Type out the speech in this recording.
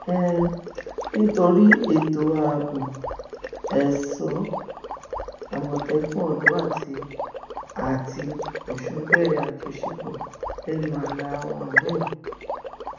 um nítorí ètò ààbò èso àmọtẹkùn ọdọ àti àti ọsùn bẹrẹ àjọṣepọ lẹnu ààlà wọn um